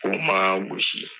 U kuma an gosi.